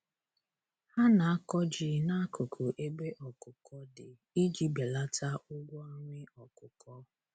Ha na-akọ ji n'akụkụ ebe ọkụkọ dị iji belata ụgwọ nri ọkụkọ.